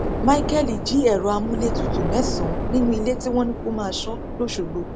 micheal jí ẹrọ amúlétutù mẹsànán nínú ilé tí wọn ní kó máa sọ l'osogbó